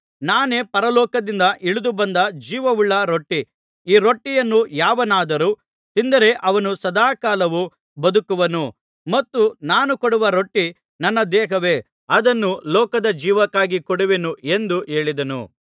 ನಾನೇ ಪರಲೋಕದಿಂದ ಇಳಿದು ಬಂದ ಜೀವವುಳ್ಳ ರೊಟ್ಟಿ ಈ ರೊಟ್ಟಿಯನ್ನು ಯಾವನಾದರೂ ತಿಂದರೆ ಅವನು ಸದಾ ಕಾಲವು ಬದುಕುವನು ಮತ್ತು ನಾನು ಕೊಡುವ ರೊಟ್ಟಿ ನನ್ನ ದೇಹವೇ ಅದನ್ನು ಲೋಕದ ಜೀವಕ್ಕಾಗಿ ಕೊಡುವೆನು ಎಂದು ಹೇಳಿದನು